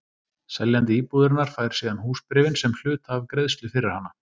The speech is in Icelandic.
Seljandi íbúðarinnar fær síðan húsbréfin sem hluta af greiðslu fyrir hana.